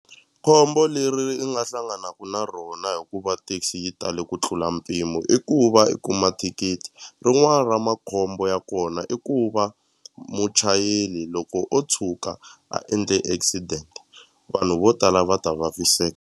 Khombo leri i nga hlanganaku na rona hikuva taxi yi tale ku tlula mpimo i ku va i kuma thikithi rin'wani ra makhombo ya kona i ku va muchayeri loko o tshuka a endle accident vanhu vo tala va ta vaviseka.